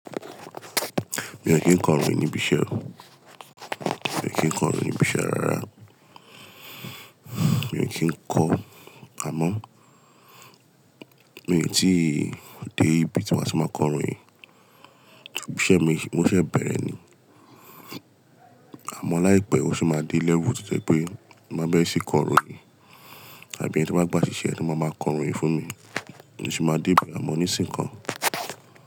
Mi ò kín kọ́ ìròyìn níbi iṣẹ́ o. Mi ò kín kọ́ ìròyìn níbi iṣẹ́ rara. Mi ò kín kọ́ amọ́, mi ò tíì dé ibi tí màá ti máa kọ ìròyìn. Iṣẹ́ mi, mo sese bẹ̀rẹ̀ ni. Àmọ́ láìpẹ́, ó sì máa dé level tó jẹ́ pé mo máa berẹ́ ṣí kọ ìròyìn àbí ẹni tan bá gba ṣíṣe lo máa máa kọ ìròyìn fún mi. Mo sì máa dé be amọ́ nísìnyi ko.